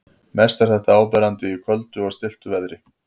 Mest er þetta áberandi í köldu og stilltu veðri.